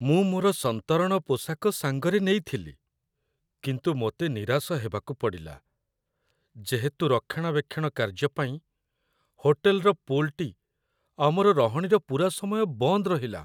ମୁଁ ମୋର ସନ୍ତରଣ ପୋଷାକ ସାଙ୍ଗରେ ନେଇଥିଲି, କିନ୍ତୁ ମୋତେ ନିରାଶ ହେବାକୁ ପଡ଼ିଲା, ଯେହେତୁ ରକ୍ଷଣାବେକ୍ଷଣ କାର୍ଯ୍ୟ ପାଇଁ ହୋଟେଲର ପୁଲ୍‌ଟି ଆମର ରହଣିର ପୂରା ସମୟ ବନ୍ଦ ରହିଲା।